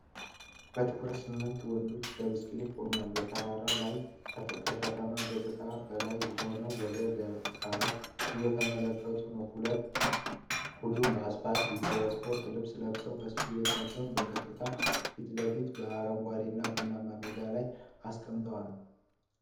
በትኩረት ስምንት ወንዶች በብስክሌት ቆመው፣ በተራራ ላይ ከከተማ ገጽታ በላይ ሆነው ወደ ግራ እየተመለከቱ ነው። ሁሉም በስፖርት ልብስ ለብሰው፣ ብስክሌቶቻቸውን በቀጥታ ፊት ለፊታቸው በአረንጓዴ እና ቡናማ ሜዳ ላይ አስቀምጠዋል።